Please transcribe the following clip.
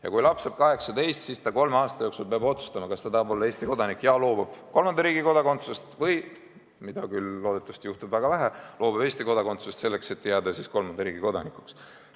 Ja kui noor inimene saab 18, siis ta peab kolme aasta jooksul otsustama, kas ta tahab olla Eesti kodanik ja loobub kolmanda riigi kodakondsusest või – mida küll loodetavasti juhtub väga vähe – loobub Eesti kodakondsusest, selleks et jääda kolmanda riigi kodanikuks.